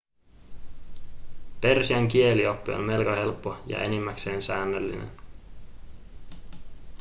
persian kielioppi on melko helppo ja enimmäkseen säännöllinen